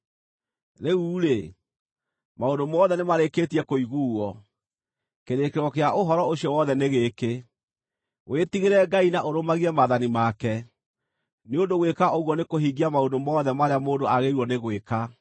Rĩu-rĩ, maũndũ mothe nĩmarĩkĩtie kũiguuo; kĩrĩkĩrĩro kĩa ũhoro ũcio wothe nĩ gĩkĩ: Wĩtigĩre Ngai na ũrũmagie maathani make, nĩ ũndũ gwĩka ũguo nĩkũhingia maũndũ mothe marĩa mũndũ agĩrĩirũo nĩ gwĩka.